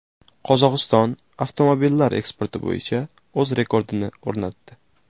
Qozog‘iston avtomobillar eksporti bo‘yicha o‘z rekordini o‘rnatdi.